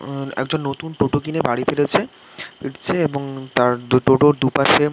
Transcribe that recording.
উমম একজন নতুন টোটো কিনে বাড়ি ফিরেছে ফিরছে এবং টোটো - ওর দুপাশে --